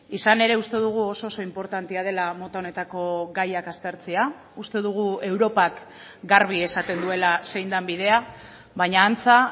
izan ere uste dugu oso oso inportantea dela mota honetako gaiak aztertzea uste dugu europak garbi esaten duela zein den bidea baina antza